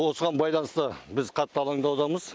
осыған байланысты біз қатты алаңдаудамыз